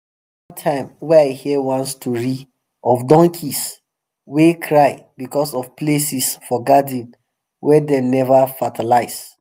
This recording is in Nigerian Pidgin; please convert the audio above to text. time wey i hear one story of donkey wey cry because of places for garden wey dem never fertilize